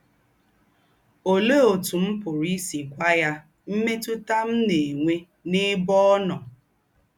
Òléè ótù m̀ pụ̀rụ́ ísì gwá ya m̀mètútà m̀ ná-ènwè n’èbè ọ́ nọ́? ”